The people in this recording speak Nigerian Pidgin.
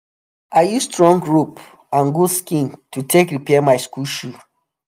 i use strong rope and goat skin to take repair my school shoe